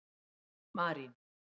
Marín